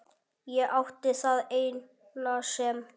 Ég átti það eina sem